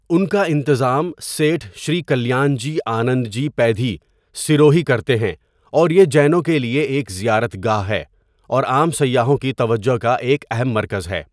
ان کا انتظام سیٹھ شری کلیان جی آنند جی پیدھی، سروہی کرتے ہیں اور یہ جینوں کے لیے ایک زیارت گاہ ہے، اور عام سیاحوں کی توجہ کا ایک اہم مرکز ہے۔